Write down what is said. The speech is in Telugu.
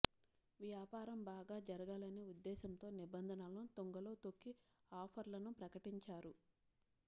వ్యాపారం బాగా జరగాలనే ఉద్దేశంతో నిబంధనలను తుంగలో తొక్కి ఆఫర్లను ప్రకటించారు